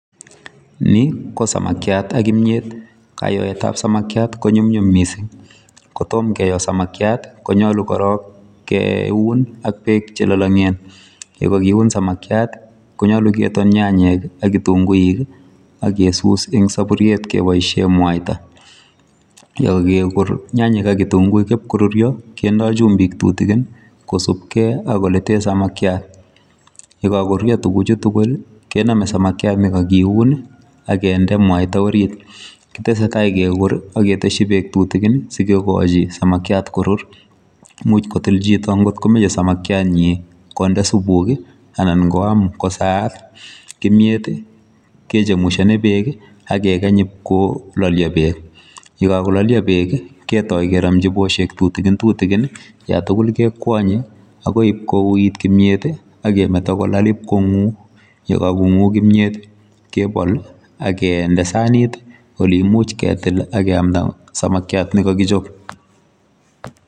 Ni ko samakiat ak kimyeet kayoet ab samakiat ko nyumnyum missing, korom kiyo samakiat konyaluu korong keun ak beek che lalagen ye kakiuun ak beek , konyaluu ketoon ak nyanyek ak kitunguuik ii ak kesus en saburuiet kebaisheen mwaita ,ye kageguur nyanyek ak kitunguuik koruria kindaa chumbiik tutukiin kosupkei ak ole teen samakiat ye kako ruria tuguuk chuu tugul kename samakiat ne kakiiun ii kendee mwaita oriit kotesetai ak kinde beek tutukiin sikokachi samakiat korur ,imuuch kotil chito ko komachei samakiat nyiin konde supuuk ii anan koyaam kosaat , kimyeet ii kechemushani beek ii ak ke kaany iip kolialis beek ,ye kakolia beek ketortaa ak keramjii beek tutukiin ii yaan tuguul kekwanye ak koib kowuit kimyeet ii ak metaa kolaal ii konguu, ye kagemete konguu kimyeet ak yeityaa kegol ak kindee saniit oleimuich ketil ak keyamdaa samakiat.